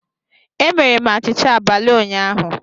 Emere m achịcha abalị ụnyaahụ